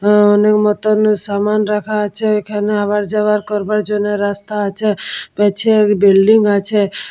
হম মনের মতো সামান রাখা আছে এখানে আবা যাবা করবার জন্য রাস্তা আছে। পিছে একটি বিল্ডিং আছে।